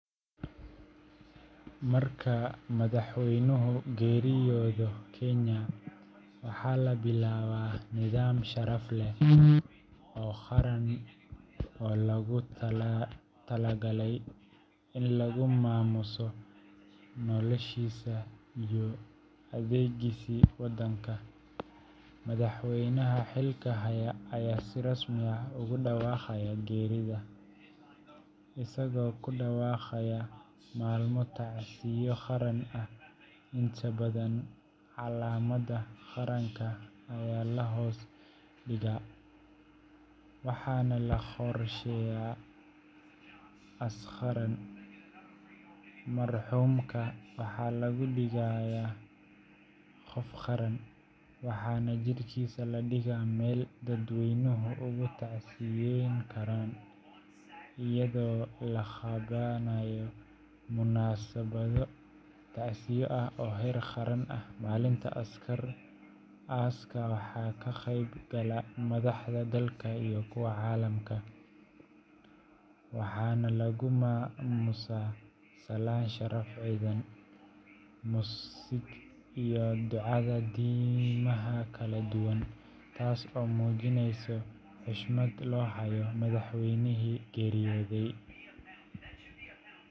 Marka madaxweynuhu geeriyoodo Kenya, waxaa la bilaabaa nidaam sharaf leh oo qaran oo loogu talagalay in lagu maamuuso noloshiisa iyo adeegiisii waddanka. Madaxweynaha xilka haya ayaa si rasmi ah ugu dhawaaqaya geerida, isagoo ku dhawaaqaya maalmo tacsiyo qaran ah, inta badan calamada qaranka ayaa la hoos dhigaa half-mast, waxaana la qorsheeyaa aas qaran. Marxuumka waxaa laga dhigayaa “qof qaran” waxaana jirkiisa la dhigaa meel dadweynuhu uga tacsiyeyn karaan lying in state, iyadoo la qabanayo munaasabado tacsiyo ah oo heer qaran ah. Maalinta aaska waxaa ka qeyb gala madaxda dalka iyo kuwa caalamka, waxaana lagu maamuusaa salaan sharaf ciidan, muusig, iyo ducada diimaha kala duwan, taas oo muujinaysa xushmadda loo hayo madaxweynihii geeriyooday.